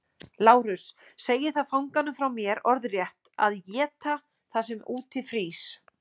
LÁRUS: Segið þá fanganum frá mér orðrétt: að éta það sem úti frýs.